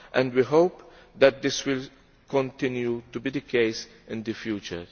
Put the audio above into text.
We hope that this will continue to be the case in the future.